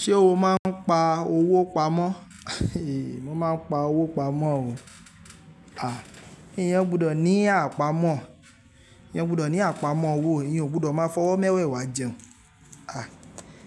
Ṣé o máa ń pa owó pamọ́? Mo máa ń pa owó pamọ́ o. Eeyẹn gbọdọ̀ ní àpamọ́, eeyan gbọdọ̀ ní àpamọ́ owó, eeyan ò gbọdọ̀ máa fọwọ́ mẹ́wẹ̀ẹ́wá jẹun.